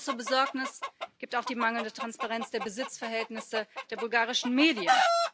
Grund zur Besorgnis gibt auch die mangelnde Transparenz der Besitzverhältnisse der bulgarischen Medien.